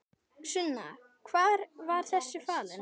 Sunna: Hvar var þessi falinn?